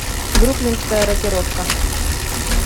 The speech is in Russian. бруклинская рокировка